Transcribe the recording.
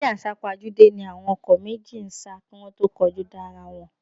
Eré àsápajúdé ni àwọn ọkọ̀ méjèèjì ń sá kí wọ́n tó kọlu ara wọn